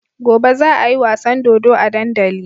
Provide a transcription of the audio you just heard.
Gobe za ayi wasan dodo a dandali